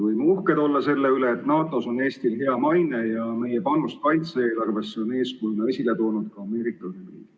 Võime uhked olla, et NATO-s on Eestil hea maine ja meie panust kaitse-eelarvesse on eeskujuks toonud ka Ameerika Ühendriigid.